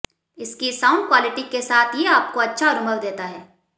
इसकी sound quality के साथ ये आपको अच्छा अनुभव देता है